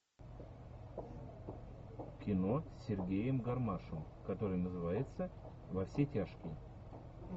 кино с сергеем гармашем которое называется во все тяжкие